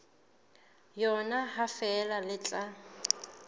yona ha feela le tla